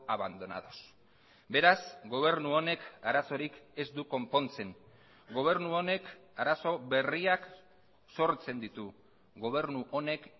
abandonados beraz gobernu honek arazorik ez du konpontzen gobernu honek arazo berriak sortzen ditu gobernu honek